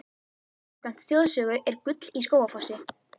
Samkvæmt þjóðsögu er gull í Skógafossi.